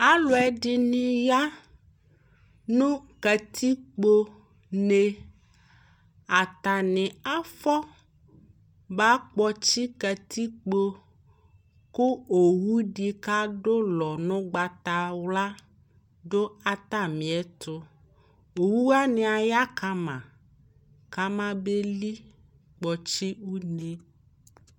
Alʋɛdɩnɩ ya nʋ katikpo ne Atanɩ afɔba kpɔtsɩ katikpo kʋ owudɩ k'adʋ ʋlɔ n'ʋgbatawla dʋ atamiɛtʋ Owuwanɩ aya kama kamabeli kpɔtsɩ une